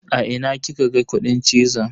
A ina kika ga kudin cizon?